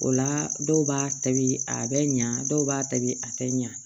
O la dɔw b'a tobi a bɛ ɲa dɔw b'a tobi a tɛ ɲa